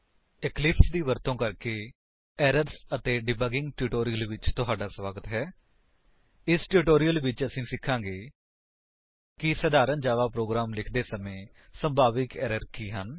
Eclipse ਦੀ ਵਰਤੋ ਕਰਕੇ ਐਰਰਜ਼ ਅਤੇ ਡੀਬੱਗਿੰਗ ਟਿਊਟੋਰਿਅਲ ਵਿੱਚ ਤੁਹਾਡਾ ਸਵਾਗਤ ਹੈ ਇਸ ਟਿਊਟੋਰਿਅਲ ਵਿੱਚ ਅਸੀ ਸਿਖਾਂਗੇ ਕਿ ਸਧਾਰਣ ਜਾਵਾ ਪ੍ਰੋਗਰਾਮ ਲਿਖਦੇ ਸਮਾਂ ਸੰਭਾਵਿਕ ਏਰਰ ਕੀ ਹਨ